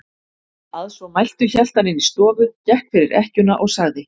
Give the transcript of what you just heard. Að svo mæltu hélt hann inn í stofu, gekk fyrir ekkjuna og sagði